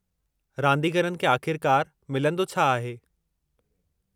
रादींगरनि खे आख़िरकारु में मिलंदो छा आहे?